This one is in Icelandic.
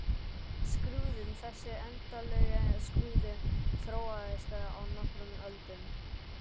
Skrúðinn Þessi endanlegi skrúði þróaðist á nokkrum öldum.